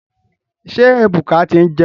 Ṣé Ebuka ti ń jẹun.